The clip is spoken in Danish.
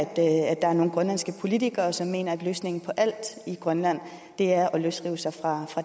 der er nogle grønlandske politikere som mener at løsningen på alt i grønland er at løsrive sig fra